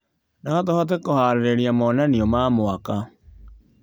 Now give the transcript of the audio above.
No tũhote kũharĩrĩria monanio ma mwaka.